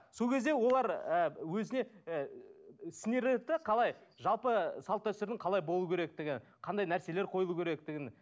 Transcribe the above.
сол кезде олар ы өзіне ы сіңіреді де қалай жалпы салт дәстүрдің қалай болуы керектігі қандай нәрселер қойылу керектігін